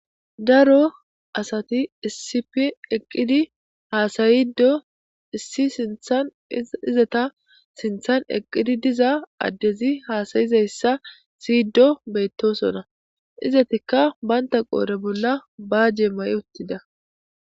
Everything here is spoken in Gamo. Daro asati issip eqqidi haasayido issi sinthan izata sinthan eqqidi diza addezi haasayizayssa siydo beyttosona izatikka baynta qoore bolla baajee ma'uttida